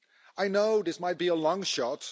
I know this might be a long shot.